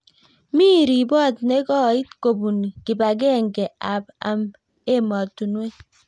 mi ripot ne koit kobun kibakengekenge ab ematunwek